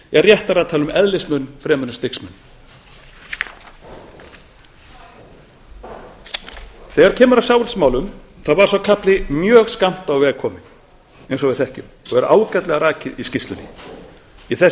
er réttara að tala um eðlismun en stigsmun kaflinn um sjávarútvegsmálin var skammt á veg kominn eins og við þekkjum og er ágætlega rakið í skýrslunni í þessu